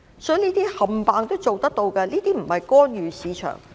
所以，這些全部都做得到，並非干預市場。